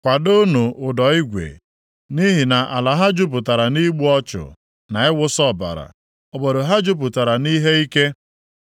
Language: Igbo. “ ‘Kwadoonụ ụdọ igwe. Nʼihi na ala ha jupụtara nʼigbu ọchụ na ịwụsa ọbara, obodo ahụ jupụtara nʼihe ike.